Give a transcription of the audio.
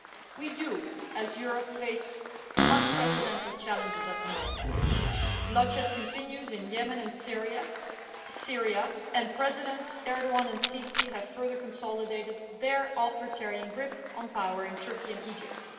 We do, as Europe faces unprecedented challenges at the moment bloodshed continues in Yemen and Syria, and Presidents Erdoğan and el Sisi have further consolidated their authoritarian grip on power in Turkey and Egypt.